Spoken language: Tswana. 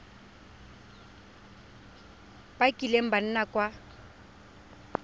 ba kileng ba nna kwa